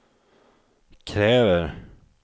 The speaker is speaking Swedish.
kräver